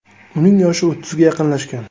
Uning yoshi o‘ttizga yaqinlashgan.